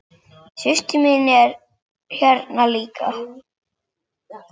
Systir mín er hérna líka.